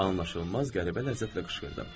anlaşılmaz qəribə ləzzətlə qışqırdı.